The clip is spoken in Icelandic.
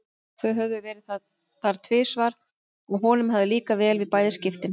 Þau höfðu verið þar tvisvar og honum hafði líkað vel í bæði skiptin.